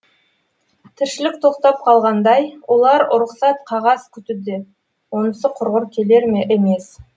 тіршілік тоқтап қалғандай олар ұрықсат қағаз күтуде онысы құрғыр келер емес